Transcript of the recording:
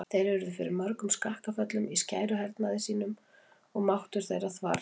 Þeir urðu fyrir mörgum skakkaföllum í skæruhernaði sínum og máttur þeirra þvarr.